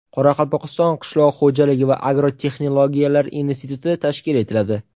Qoraqalpog‘iston qishloq xo‘jaligi va agrotexnologiyalar instituti tashkil etiladi.